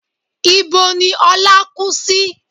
Ibo ni Ọlá kú sí?